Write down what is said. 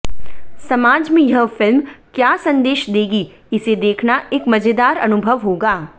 समाज में यह फिल्म क्या सन्देश देगी इसे देखना एक मजेदार अनुभव होगा